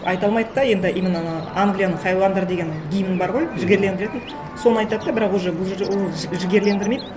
айта алмайды да енді именно анау англияның хайуандары деген гимн бар ғой жігерлендіретін соны айтады да бірақ уже бұл ол жігерлендірмейді